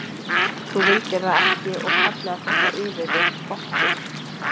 Þú vildir það ekki og kallaðir þetta yfir þig, okkur.